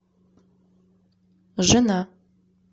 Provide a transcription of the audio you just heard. жена